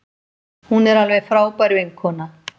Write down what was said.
Hún er alveg frábær vinkona.